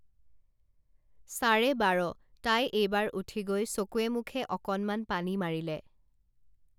চাৰে বাৰ তাই এইবাৰ উঠি গৈ চকুৱে মুখে অকনমান পানী মাৰিলে